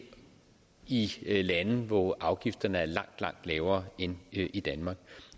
i lande hvor afgifterne er langt langt lavere end i danmark